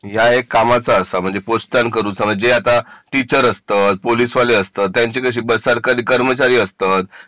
हे तुझ्या कामाचा असा म्हणजे जे पोस्टान करू चा टीचर असतात पोलीस वाले असतात त्यांची कशी सरकारी कर्मचारी असतं